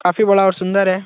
काफी बड़ा और सुंदर है।